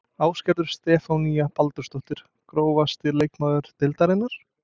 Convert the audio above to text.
Ásgerður Stefanía Baldursdóttir Grófasti leikmaður deildarinnar?